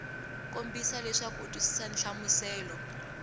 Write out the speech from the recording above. kombisa leswaku u twisisa nhlamuselo